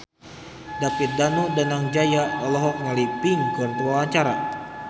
David Danu Danangjaya olohok ningali Pink keur diwawancara